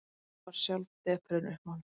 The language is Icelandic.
Hann varð sjálf depurðin uppmáluð.